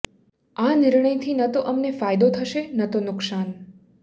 આ નિર્ણયથી ન તો અમને ફાયદો થશે ન તો નુકશાન